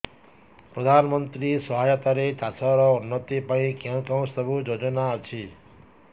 ପ୍ରଧାନମନ୍ତ୍ରୀ ସହାୟତା ରେ ଚାଷ ର ଉନ୍ନତି ପାଇଁ କେଉଁ ସବୁ ଯୋଜନା ଅଛି